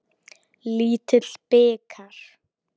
Lítill bikar.